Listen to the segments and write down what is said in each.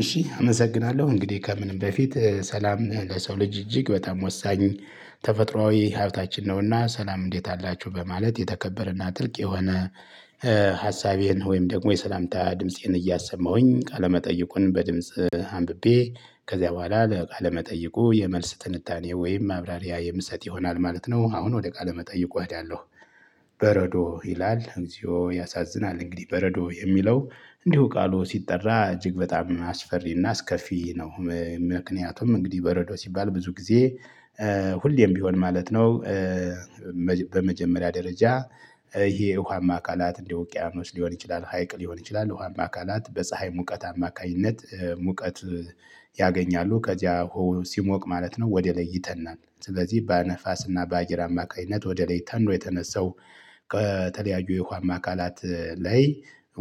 እሺ አመሰግናለሁ እንግዲህ ከምንም በፊት ሰላም ለሰው ልጅ እጅግ በጣም ወሳኝ። ተፈጥሮአዊ ሀብታችን ነውና ሰላም እንዴት አላችሁ በማለት የተከበረና ጥልቅ የሆነ። ሀሳቤን ወይም ደግሞ የሰላምታ ድምፄን እያሰማሁኝ ቃለመጠይቁን በድምጽ አንብቤ ከዚያ በኋላ ለቃ መጠየቁ የመልስ ትንታኔ ወይም ማብራሪያ የምሰጥ ይሆናል ማለት ነው። አሁን ወደ ቃለ መጠይቁ እሄዳለሁ። በረዶ ይላል እግዚኦ ያሳዝናል። እንግዲህ በረዶ የሚለው እንዲሁ ቃሉ ሲጠራ እጅግ በጣም አስፈሪና አስከፊ ነው ምክንያቱም እንግዲህ በረዶ ሲባል ብዙ ጊዜ ሁሌም ቢሆን ማለት ነው። በመጀመሪያ ደረጃ። ይሄ ውሃማ አካላት እንደ ወቅያኖስ ሊሆን ይችላል ሀይቅ ሊሆን ይችላል ውሃማ አካላት በፀሀይ ሙቀት አማካኝነት ሙቀት። ያገኛሉ ከዚያ ውሃው ሲሞቅ ማለት ነው ወደ ላይ ይተናል። ስለዚህ በነፋስና በአየር አማካኝነት ወደ ላይ ተኖ የተነሳው። ከተለያዩ የውሃማ አካላት ላይ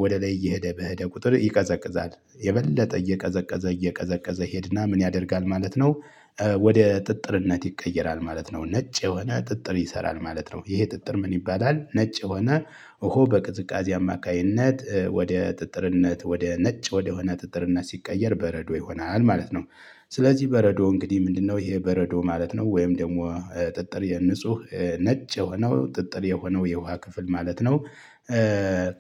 ወደ ላይ እየሄደ በሄደ ቁጥር ይቀዘቅዛል የበለጠ እየቀዘቀዘ እየቀዘቀዘ ይሄድና ምን ያደርጋል ማለት ነው? ወደ ጥጥርነት ይቀየራል ማለት ነው። ነጭ የሆነ ጥጥር ይሰራል ማለት ነው። ይሄ ጥጥር ምን ይባላል? ነጭ ሆነ ውሃው በቅዝቃዜ አማካኝነት ወደ ጥጥርነት ወደ ነጭ ወደሆነ ጥጥርነት ሲቀየር በረዶ ይሆናል ማለት ነው። ስለዚህ በረዶ እንግዲህ ምንድነው? ይሄ በረዶ ማለት ነው ወይም ደግሞ ጥጥር የንጹህ ነጭ የሆነው ጥጥር የሆነው የውሃ ክፍል ማለት ነው።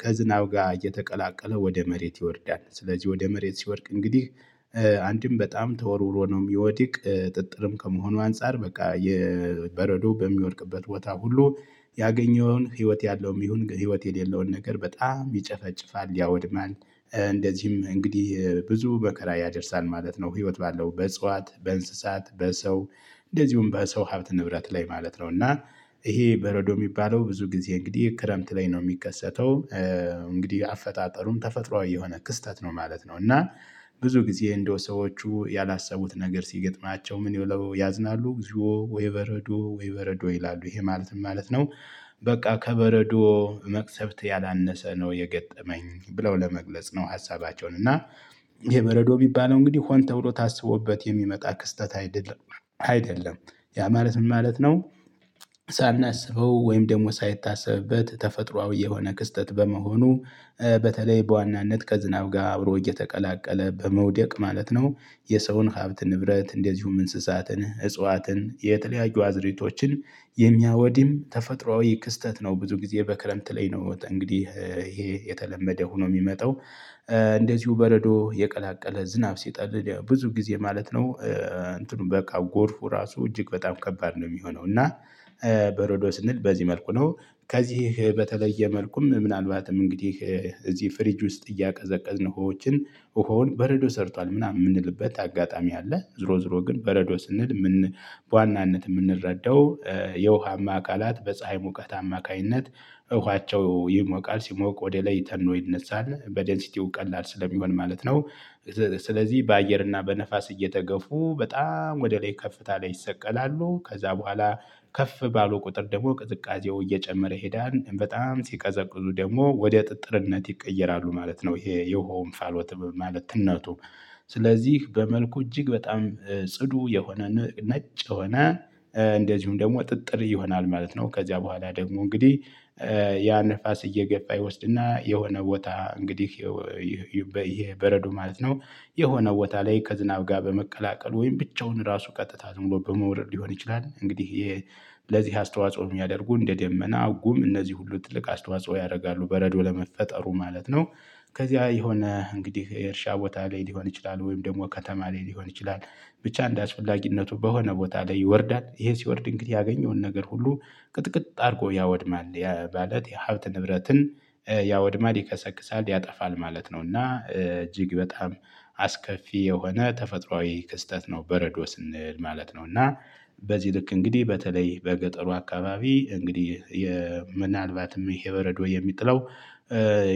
ከዝናብ ጋር እየተቀላቀለ ወደ መሬት ይወርዳል። ስለዚህ ወደ መሬት ሲወርቅ እንግዲህ አንድም በጣም ተወርውሮ ነው። የሚወድቅ ጥጥርም ከመሆኑ አንፃር በቃ የበረዶ በሚወድቅበት ቦታ ሁሉ ያገኘውን ህይወት ያለውም ይሁን ህይወት የሌለውን ነገር በጣም ይጨፈጭፋል ያወድማል። እንደዚህም እንግዲህ ብዙ መከራ ያደርሳል ማለት ነው። ህይወት ባለው በእጽዋት በእንስሳት በሰው እንደዚሁም በሰው ሀብት ንብረት ላይ ማለት ነው። እና ይሄ በረዶ የሚባለው ብዙ ጊዜ እንግዲህ ክረምት ላይ ነው የሚከሰተው። እንግዲህ አፈጣጠሩም ተፈጥሮአዊ የሆነ ክስተት ነው ማለት ነው። እና ብዙ ጊዜ እንደው ሰዎቹ ያላሰቡት ነገር ሲገጥማቸው ምን ብለው ያዝናሉ? ወይ በረዶ ወይ በረዶ ይላሉ ይሄ ማለት ምን ማለት ነው? በቃ ከበረዶ መቅሰፍት ያላነሰ ነው የገጠመኝ ብለው ለመግለጽ ነው። ሀሳባቸውን እና ይሄ በረዶ ሚባለው እንግዲህ ሆን ተብሎ ታስቦበት የሚመጣ ክስተት አይደለም አይደለም። ያ ማለት ምን ማለት ነው? ሳናስበው ወይም ደግሞ ሳይታሰብበት ተፈጥሮአዊ የሆነ ክስተት በመሆኑ በተለይ በዋናነት ከዝናብ ጋር አብሮ እየተቀላቀለ በመውደቅ ማለት ነው። የሰውን ሀብት ንብረት እንደዚሁም እንስሳትን እጽዋትን የተለያዩ አዝርእቶችን የሚያወድም ተፈጥሮአዊ ክስተት ነው። ብዙ ጊዜ በክረምት ላይ ነው እንግዲህ ይሄ የተለመደ ሆኖ የሚመጣው። እንደዚሁ በረዶ የቀላቀለ ዝናብ ሲጥል ብዙ ጊዜ ማለት ነው እንትኑ በቃ ጎርፉ ራሱ እጅግ በጣም ከባድ ነው የሚሆነው እና። በረዶ ስንል በዚህ መልኩ ነው። ከዚህ በተለየ መልኩም ምናልባትም እንግዲህ እዚህ ፍሪጅ ውስጥ እያቀዘቀዝን ውሆዎችን ውሃውን በረዶ ሰርቷል ምናምን የምንልበት አጋጣሚ አለ ዞሮ ዞሮ ግን በረዶ ስንል። በዋናነት የምንረዳው የውሃማ አካላት በፀሀይ ሙቀት አማካኝነት እውነታቸው ይሞቃል ሲሞቅ ወደ ላይ ተኖ ይነሳል በደንሲቲው ቀላል ስለሚሆን ማለት ነው። ስለዚህ በአየር እና በነፋስ እየተገፉ በጣም ወደ ላይ ከፍታ ላይ ይሰቀላሉ ከዛ በኋላ ከፍ ባለው ቁጥር ደግሞ ቅዝቃዜው እየጨመረ ሄደን በጣም ሲቀዘቅዙ ደግሞ ወደ ጥጥርነት ይቀየራሉ ማለት ነው። ይሄ የሆንፋሎ ትምህርት ማለት እናቱ። ስለዚህ በመልኩ እጅግ በጣም ጽዱ የሆነ ነጭ ሆነ እንደዚሁም ደግሞ ጥጥር ይሆናል ማለት ነው። ከዚያ በኋላ ደግሞ እንግዲህ ያ ንፋስ እየገባ ይወስድና የሆነ ቦታ እንግዲህ። ይህ በረዶ ማለት ነው። የሆነ ቦታ ላይ ከዝናብ ጋር በመቀላቀሉ ወይም ብቻውን ራሱ ቀጥታ ዝም ብሎ በመውረድ ሊሆን ይችላል እንግዲህ። ለዚህ አስተዋጽኦ የሚያደርጉ እንደ ደመና ጉም እነዚህ ሁሉ ትልቅ አስተዋጽኦ ያደርጋሉ በረዶ ለመፈጠሩ ማለት ነው። ከዚያ የሆነ እንግዲህ የእርሻ ቦታ ላይ ሊሆን ይችላል ወይም ደግሞ ከተማ ላይ ሊሆን ይችላል። ብቻ እንዳስፈላጊነቱ በሆነ ቦታ ላይ ይወርዳል ይሄ ሲወርድ እንግዲህ ያገኘውን ነገር ሁሉ ቅጥቅጥ አድርጎ ያወድማል። ማለት የሀብት ንብረትን ያወድማል ይከሰክሳል ያጠፋል ማለት ነው። እና እጅግ በጣም አስከፊ የሆነ ተፈጥሮአዊ ክስተት ነው። በረዶ ስንል ማለት ነው። እና በዚህ ልክ እንግዲህ በተለይ በገጠሩ አካባቢ እንግዲህ ምናልባትም ይሄ በረዶ የሚጥለው።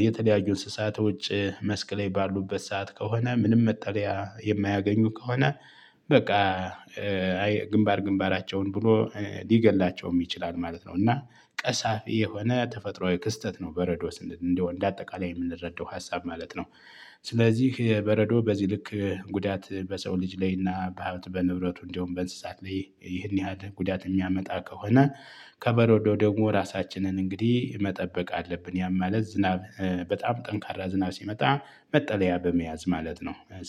የተለያዩ እንስሳቶች መስክ ላይ ባሉበት ሰዓት ከሆነ ምንም መጠሪያ የማያገኙ ከሆነ። በቃ ግንባር ግንባራቸውን ብሎ ሊገድላቸውም ይችላል ማለት ነው። እና ቀሳፊ የሆነ ተፈጥሮአዊ ክስተት ነው። በረዶ ስንል እንደው እንደ አጠቃላይ የምንረዳው ሀሳብ ማለት ነው። ስለዚህ በረዶ በዚህ ልክ ጉዳት በሰው ልጅ ላይ እና በሃብት በንብረቱ እንደውም በእንስሳት ላይ ይህን ያህል ጉዳት የሚያመጣ ከሆነ። ከበሮ ደግሞ ራሳችንን እንግዲህ መጠበቅ አለብን ያማለት ዝናብ። በጣም ጠንካራ ዝና ሲመጣ መጠለያ በመያዝ ማለት ነው።